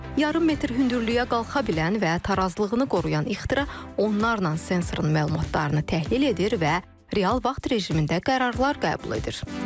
Yarım metr hündürlüyə qalxa bilən və tarazlığını qoruyan ixtira onlarla sensorun məlumatlarını təhlil edir və real vaxt rejimində qərarlar qəbul edir.